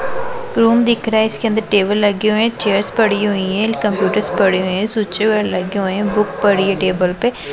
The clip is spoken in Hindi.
तुम दिख रहा है इसके अंदर टेबल लगे हुए हैं चेयर पड़ी हुई हैं कंप्यूटर पड़ी हैं स्यूचे लगे हुए हैं बुक पड़ी है टेबल पे--